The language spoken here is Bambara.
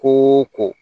Ko ko